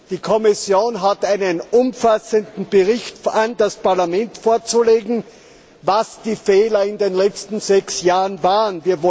Die Kommission hat einen umfassenden Bericht an das Parlament darüber vorzulegen, was die Fehler in den letzten sechs Jahren waren.